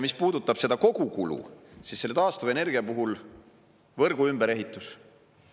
Mis puudutab seda kogukulu, siis taastuvenergia puhul võrgu ümberehitus.